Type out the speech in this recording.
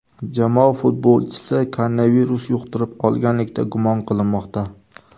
Jamoa futbolchisi koronavirus yuqtirib olganlikda gumon qilinmoqda.